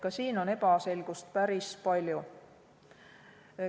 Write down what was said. Ka siin on ebaselgust päris palju.